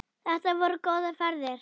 Þetta voru góðar ferðir.